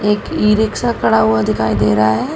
एक e rickshaw खड़ा हुआ दिखाई दे रहा है।